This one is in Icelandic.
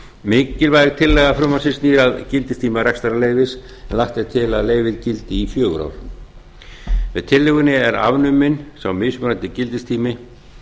mikilvæg tillaga frumvarpsins snýr að gildistíma rekstrarleyfis en lagt er til að leyfið gildi í fjögur ár með tillögunni er afnuminn sá mismunandi gildistími